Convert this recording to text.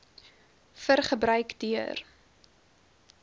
vir gebruik deur